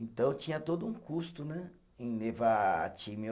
Então tinha todo um custo né, em levar time.